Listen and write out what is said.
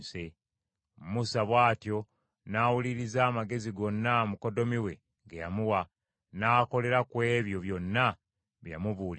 Musa bw’atyo n’awuliriza amagezi gonna mukoddomi we ge yamuwa, n’akolera ku ebyo byonna bye yamubuulirira.